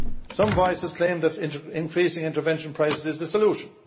Some voices claim that increasing intervention prices is the solution.